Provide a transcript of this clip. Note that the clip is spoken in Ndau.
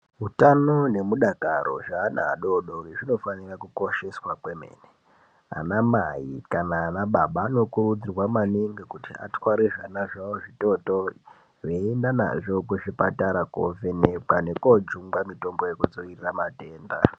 Hutano nemudakaro zveana adodori zvinofanira kukosheswa kwemene. Anaamai kana anababa anokurudzirwa maningi kuti atware zvana zvavo zvitotori. Veienda nazvo kuzvipatara kovhenekwa nekojungwa mitombo yekudzirira matenda.